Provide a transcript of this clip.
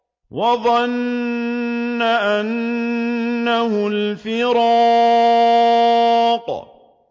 وَظَنَّ أَنَّهُ الْفِرَاقُ